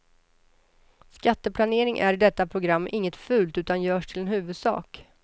Skatteplanering är i detta program inget fult utan görs till en huvudsak.